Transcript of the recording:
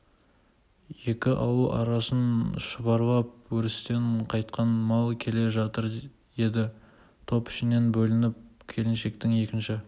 екі ауыл арасын шұбарлап өрістен қайтқан мал келе жатыр еді топ ішінен бөлініп келіншектің екінші